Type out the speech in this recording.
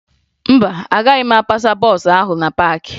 Mba, agaghị m apasa bọọsụ ahụ na paakị